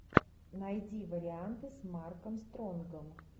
найди варианты с марком стронгом